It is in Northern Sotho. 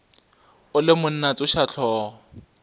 o le monna tsoša hlogo